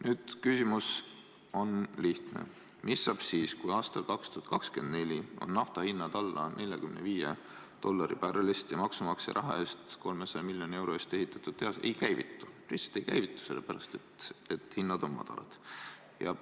Nüüd, küsimus on lihtne: mis saab siis, kui aastal 2024 on nafta hind alla 45 dollari barreli kohta ja maksumaksja raha, 300 miljoni euro eest ehitatud tehas ei käivitu, lihtsalt ei käivitu, sest hinnad on madalad?